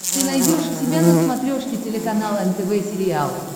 ты найдешь у себя на смотрешке телеканал нтв сериал